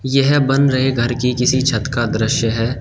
यह बन रहे घर के किसी छत का दृश्य है।